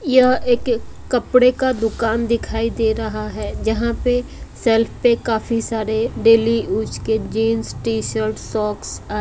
यह एक कपड़े का दुकान दिखाई दे रहा है जहां पे शेल्फ पे काफी सारे डेली यूज के जींस टी शर्ट सॉक्स आ --